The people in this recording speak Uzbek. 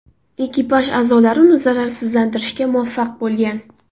Ekipaj a’zolari uni zararsizlantirishga muvaffaq bo‘lgan.